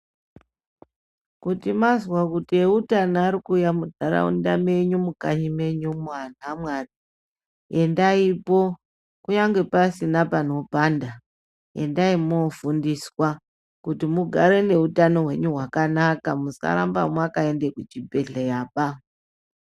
Kuti mazwa kuti eutano ari kuuya munharaunda menyu mukanyi menyumo anhu aMwari, endaipo kunyange pasina panopanda, endai mofundiswa kuti mugare neutano hwenyu hwakanaka musaramba mwakaende kuchibhedhleyaba.